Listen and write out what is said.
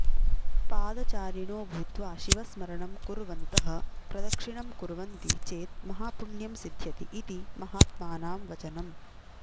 पादचारिणोभूत्वा शिवस्मरणं कुर्वन्तः प्रदक्षिणं कुर्वन्ति चेत् महापुण्यं सिध्यति इति महात्मानां वचनम्